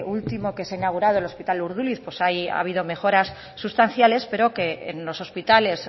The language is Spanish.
último que se ha inaugurado el hospital urduliz pues ahí ha habido mejoras sustanciales pero que en los hospitales